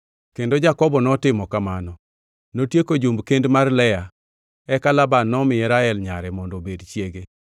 Kendo Jakobo notimo kamano. Notieko jumb kend mar Lea. Eka Laban nomiye Rael nyare mondo obed chiege.